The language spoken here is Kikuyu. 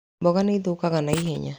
Mboga nĩ cithũkaga na ihenya.